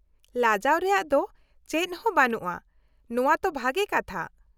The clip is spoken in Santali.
- ᱞᱟᱡᱟᱣ ᱨᱮᱭᱟᱜ ᱫᱚ ᱪᱮᱫ ᱦᱚᱸ ᱵᱟᱹᱱᱩᱜᱼᱟ, ᱱᱚᱶᱟ ᱛᱚ ᱵᱷᱟᱜᱮ ᱠᱟᱛᱷᱟ ᱾